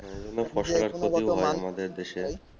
এই জন্যে ফসলের ক্ষতিও হয় আমাদের দেশে